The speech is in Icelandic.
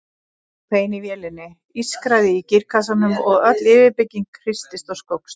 Það hvein í vélinni, ískraði í gírkassanum og öll yfirbyggingin hristist og skókst.